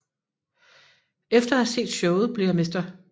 Efter at have set showet bliver Mr